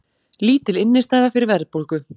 Lítil innistæða fyrir verðbólgu